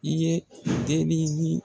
I ye dennin ɲi